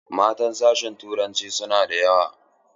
Matan sashin turanci sunada yawa sosai.